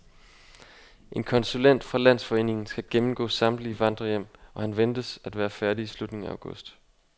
En konsulent fra landsforeningen skal gennemgå samtlige vandrehjem, og han venter at være færdig i slutningen af august.